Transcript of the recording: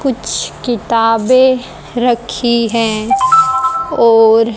कुछ किताबे रखी है और--